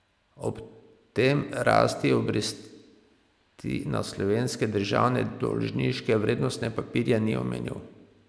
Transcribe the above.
Ob tem rasti obresti na slovenske državne dolžniške vrednostne papirje ni omenil.